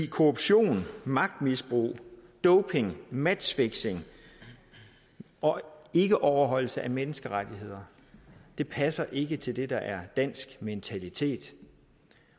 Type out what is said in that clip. korruption magtmisbrug doping matchfixing og ikkeoverholdelse af menneskerettigheder passer ikke til det der er dansk mentalitet